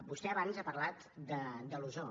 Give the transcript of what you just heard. vostè abans ha parlat de l’ozó